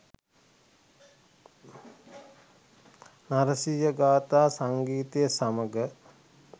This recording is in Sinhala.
නරසිහ ගාථා සංගීතය සමඟ